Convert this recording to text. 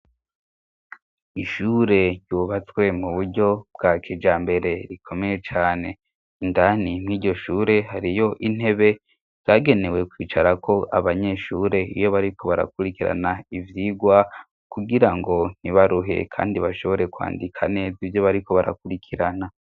Ishure ryubatswe mu buryo bwakijambere rikomeye cane indani mwiryo shure hariyo intebe yagenewe kwicarako abanyeshure iyo bariko barakurikirana ivyigwa kugira ngo ntibaruhe kandi bashobore kwandika neza ivyo bariko barakurikirana.